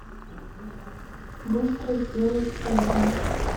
быстро сделать ужин